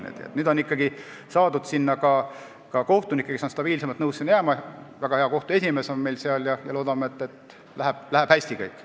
Nüüd on ikkagi saadud sinna kohtunik, kes on nõus sinna stabiilsemalt jääma – väga hea kohtu esimees on meil seal – ja loodame, et kõik läheb hästi.